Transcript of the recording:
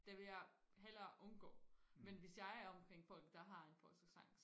det vil jeg hellere undgå men hvis jeg er omkring folk der har en polsk accent